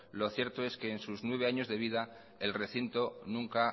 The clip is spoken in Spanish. lo cierto es que en sus nueve años de vida el recinto nunca